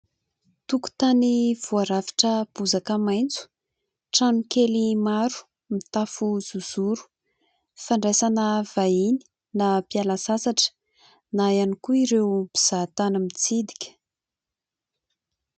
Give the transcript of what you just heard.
Tokontany voarafitra bozaka maitso ; trano kely maro mitafo zozoro ; fandraisana vahiny na mpiala sasatra na ihany koa ireo mpizahatany mitsidika.